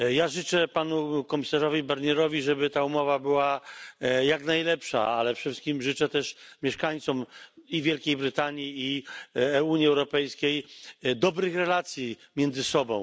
Życzę Panu Komisarzowi Barnierowi, żeby ta umowa była jak najlepsza, ale przede wszystkim życzę mieszkańcom i Wielkiej Brytanii, i Unii Europejskiej dobrych relacji między sobą.